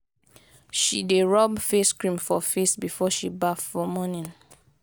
she dey rob face cream for face before she baff for morning.